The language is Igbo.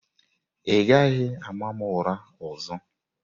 Ị gaghị ama m ụra ọzọ!